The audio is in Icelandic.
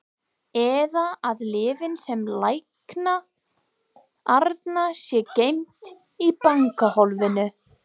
Eða að lyfin sem lækna Arnar séu geymd í bankahólfinu.